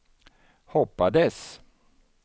hoppades